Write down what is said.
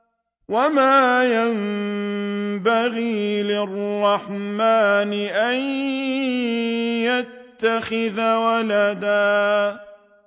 وَمَا يَنبَغِي لِلرَّحْمَٰنِ أَن يَتَّخِذَ وَلَدًا